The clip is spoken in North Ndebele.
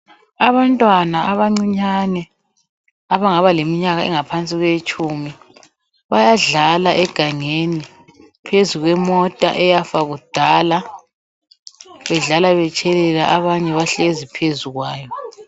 Abantwana abancinyane abangaba leminyaka engaphansi kweyetshumi, bayadlala egangeni phezukwemota eyafa kudala, bedlala betshelela, abanye bahlezi phezukwayo.